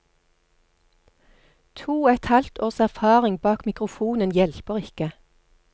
To og et halvt års erfaring bak mikrofonen hjelper ikke.